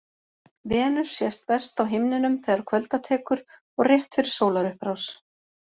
Venus sést best á himninum þegar kvölda tekur og rétt fyrir sólarupprás.